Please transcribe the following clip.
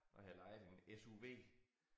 Og havde lejet en SUV